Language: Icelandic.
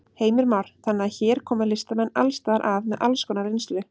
Heimir Már: Þannig að hér koma listamenn alls staðar að með alls konar reynslu?